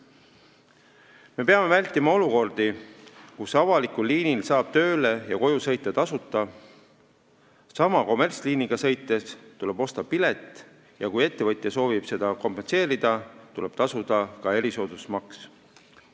Me peame vältima olukordi, kus avalikul liinil saab tööle ja koju sõita tasuta, aga kommertsliiniga sõites tuleb osta pilet ja kui ettevõtja soovib seda kompenseerida, tuleb tasuda ka erisoodustusmaks.